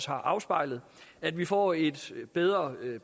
har afspejlet at vi får et bedre